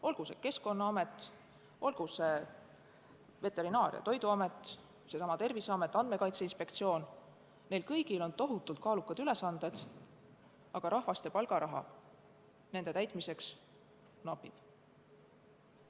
Olgu see Keskkonnaamet, Veterinaar- ja Toiduamet, seesama Terviseamet või Andmekaitse Inspektsioon – neil kõigil on tohutult kaalukad ülesanded, aga inimesi ja palgaraha nende täitmiseks napib.